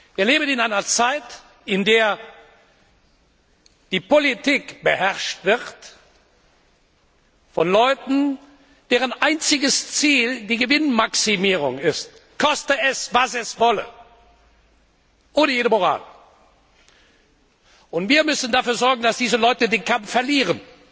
Wir leben in einer Zeit, in der die Politik beherrscht wird von Leuten, deren einziges Ziel die Gewinnmaximierung ist, koste es, was es wolle, ohne jede Moral. Und wir müssen dafür sorgen, dass diese Leute den Kampf verlieren!